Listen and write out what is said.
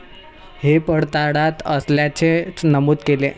हे पडताळात असल्याचे नमूद केले.